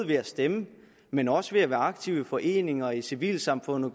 ved at stemme men også ved at være aktive i foreninger og i civilsamfundet